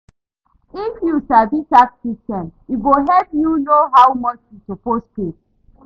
If you sabi tax system, e go help you know how much you suppose pay.